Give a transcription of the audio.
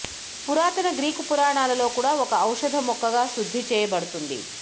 పురాతన గ్రీకు పురాణాలలో కూడా ఒక ఔషధ మొక్కగా శుద్ధి చేయబడుతుంది